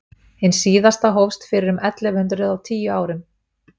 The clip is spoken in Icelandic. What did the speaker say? hin síðasta hófst fyrir um ellefu hundrað og tíu árum